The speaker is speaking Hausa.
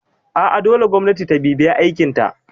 A'a dole gwamnati ta bibiye aikinta